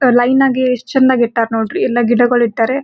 So ಲೈನಗೆ ಯೆಸ್ಟ್ ಚೆಂದಾಗ್ ಇಟ್ಟರ್ ನೋಡ್ರಿ ಎಲ್ಲ ಗಿಡಗಳು ಇಟ್ಟರೆ.